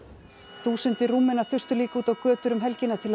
þúsundir Rúmena þustu líka út á götur um helgina til að